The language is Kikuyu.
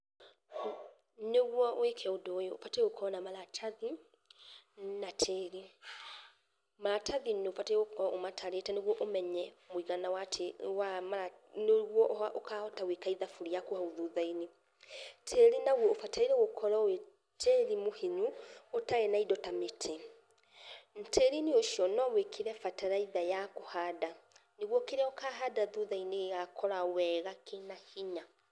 Nĩguo wĩke ũndũ uyu ubatie gũkorwo na maratathi na tĩrĩ maratathĩ nĩ ubatie gũkorwo ũmatarĩte nĩgũo ũmenye mũigana, nnĩguo ukahota gũĩKA ithabũ thuthainĩ. Tĩrĩ naguo ũbatairie gũkorwo wĩ tĩrĩ mũhinyu, ũtari na indo ta mĩtĩ. Tĩrĩinĩ ũcio no wĩkĩre bataraitha ya kũhanda nĩguo kĩrĩa úkahanda thũthaini gĩgakũra na hinya.